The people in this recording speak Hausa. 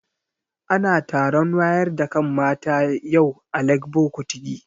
Ana taron wayar da kan mata yau a Legbo Kutigi